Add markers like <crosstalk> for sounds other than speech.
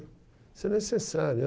Isso é necessário. <unintelligible>